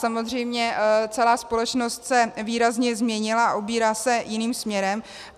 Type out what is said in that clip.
Samozřejmě celá společnost se výrazně změnila, ubírá se jiným směrem.